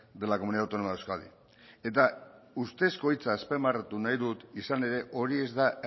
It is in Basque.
de la comunidad autónoma de euskadi eta ustezko hitza azpimarratu nahi dut izan ere hori ez da